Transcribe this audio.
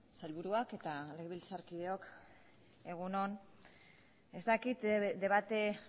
sailburuok eta legebiltzarkideok egun on ez dakit debate